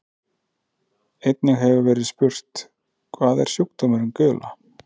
Einnig hefur verið spurt: Hvað er sjúkdómurinn gula?